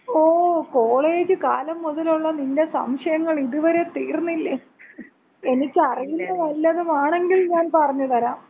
ഓ, college കാലം മുതലൊള്ള നിന്‍റെ സംശയങ്ങള് ഇത് വരെ തീർന്നില്ലെ? എനിക്കറിയുന്ന വല്ലതുമാണെങ്കിൽ ഞാൻ പറഞ്ഞ് തരാം.